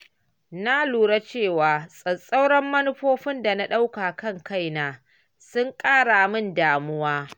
Na lura cewa tsauraran manufofin da na ɗauka kan kaina sun ƙara min damuwa.